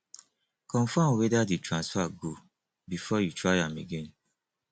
confirm whether di transfer go before you try am again